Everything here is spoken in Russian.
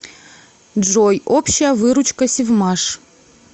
джой общая выручка севмаш